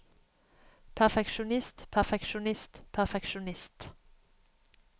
perfeksjonist perfeksjonist perfeksjonist